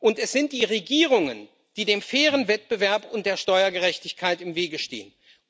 Und es sind die Regierungen, die dem fairen Wettbewerb und der Steuergerechtigkeit im Wege stehen.